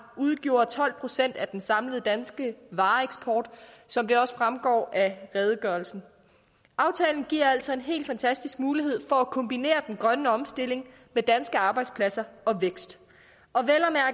udgjorde tolv procent af den samlede danske vareeksport som det også fremgår af redegørelsen aftalen giver altså en helt fantastisk mulighed for at kombinere den grønne omstilling med danske arbejdspladser og vækst